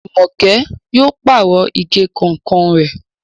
Jùmọ̀kẹ́ yóò pààrọ̀ ike kànǹkàn rẹ̀.